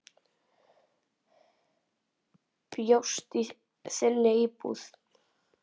Bjóst í þinni íbúð.